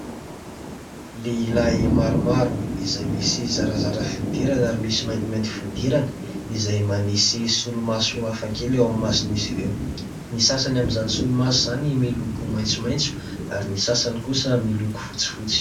Lehilahy maromaro izay misy zarazara fihodirana ary misy mainty mainty fihodirana izay manisy solo-maso hafakely ao amin'ny masony izy ireo, ny sasany amin'izany solomaso izany miloko maintso maintso ary ny sasany kosa miloko fotsy fotsy .